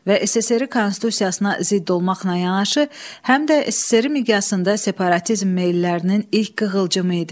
Və SSRİ Konstitusiyasına zidd olmaqla yanaşı, həm də SSRİ miqyasında separatizm meyillərinin ilk qığılcımı idi.